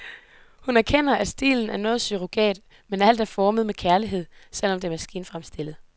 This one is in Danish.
Hun erkender, at stilen er noget surrogat, men alt er formet med kærlighed, selv om det er maskinfremstillet.